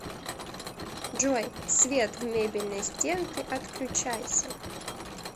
джой свет в мебельной стенке отключайся